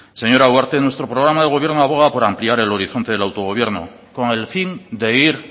señora ugarte nuestro programa de gobierno aboga por ampliar el horizonte del autogobierno con el fin de ir